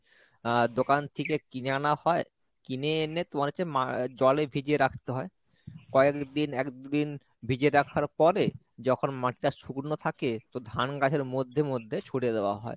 আহ দোকান থেকে কিনে আনা হয় কিনে এনে তোমার হচ্ছে মা আহ জলে ভিজিয়ে রাখতে হয় কয়েকদিন একদিন ভিজিয়ে রাখার পরে যখন মাঠটা শুকনো থাকে তো ধান গাছের মধ্যে মধ্যে ছুড়ে দেওয়া হয়।